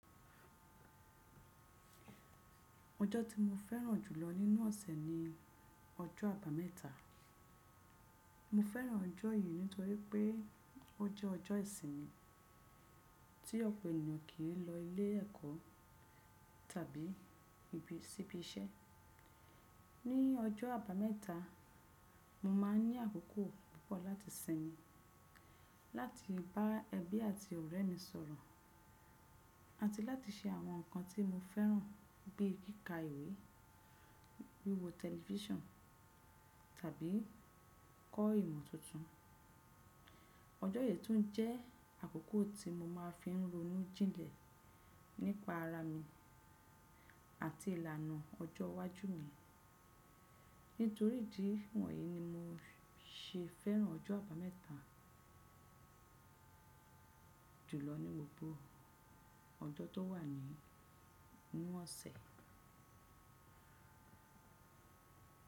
Ọjọ́ tí mo fẹ́ràn jùlọ nínú ọ̀sẹ̀ ni Ọjọ́ Àbámẹ́ta. Mo fẹ́ràn ọjọ́ yìí nítorí pé ó jẹ́ ọjọ́ ìsinmi tí ọ̀pọ̀ ènìyàn kì í lọ ilé ẹ̀kọ́ tàbí síbi iṣẹ́. Ní ọjọ́ Àbámẹ́ta, mo máa ní àkókò púpọ̀ láti sinmi, láti bá ẹbí àti ọ̀rẹ́ mi sọ̀rọ̀, àti láti ṣe àwọn nǹkan tí mo fẹ́ràn bíi kíkà ìwé, wíwo tẹlifíṣàn tàbí kọ́ ìmọ̀ tuntun. Ọjọ́ yìí tún jẹ́ àkókò tí mo máa fi ń ronú jinlẹ̀ nípa ara mi àti ìlànà ọjọ́ iwájú mi. Nítorí ìdí wọ̀nyí ni mo ṣe fẹ́ràn ọjọ́ Àbámẹ́ta jùlọ ní gbogbo ọjọ́ tó wà nínú ọ̀sẹ̀.